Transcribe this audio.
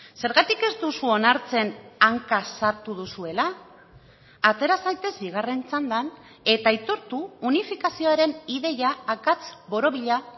zergatik ez duzu onartzen hanka sartu duzuela atera zaitez bigarren txandan eta aitortu unifikazioaren ideia akats borobila